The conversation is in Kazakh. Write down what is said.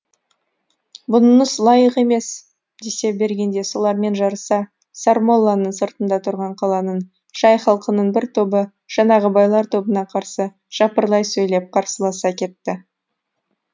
бұныңыз лайық емес десе бергенде солармен жарыса сармолланың сыртында тұрған қаланың жай халқының бір тобы жаңағы байлар тобына қарсы жапырлай сөйлеп қарсыласа кетті